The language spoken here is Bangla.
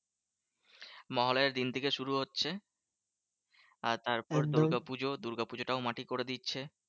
মহালয়ার দিন থেকে শুরু হচ্ছে আর তারপর দুর্গাপুজো। দুর্গাপূজোটাও মাটি করে দিচ্ছে।